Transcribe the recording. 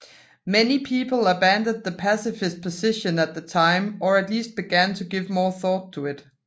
Many people abandoned the pacifist position at that time or at least began to give more thought to it